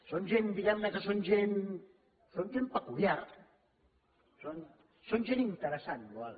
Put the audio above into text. són gent diguem ne que són gent peculiar són gent interessant boada